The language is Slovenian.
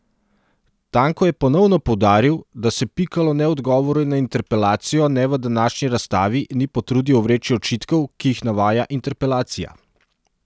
Tanko je ponovno poudaril, da se Pikalo ne v odgovoru na interpelacijo ne v današnji razstavi ni potrudil ovreči očitkov, ki jih navaja interpelacija.